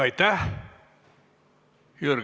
Aitäh!